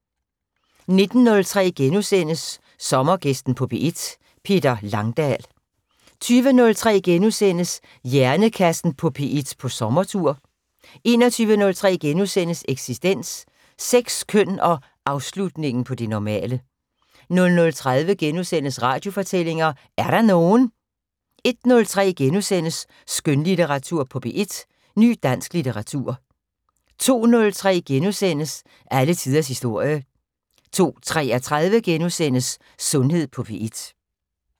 19:03: Sommergæsten på P1: Peter Langdal * 20:03: Hjernekassen på P1 på sommertur * 21:03: Eksistens: Sex, køn og afslutningen på det normale * 00:30: Radiofortællinger: Er der nogen? * 01:03: Skønlitteratur på P1: Ny dansk litteratur * 02:03: Alle tiders historie * 02:33: Sundhed på P1 *